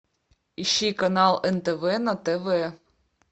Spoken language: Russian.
ищи канал нтв на тв